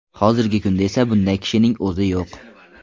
Hozirgi kunda esa bunday kishining o‘zi yo‘q.